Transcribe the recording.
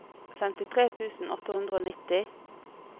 femtitre tusen åtte hundre og nitti